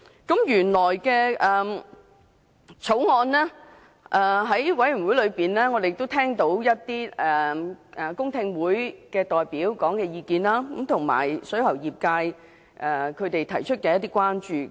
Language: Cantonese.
法案委員會曾舉行公聽會，我們聽到一些代表的意見，以及水喉業界提出的一些關注。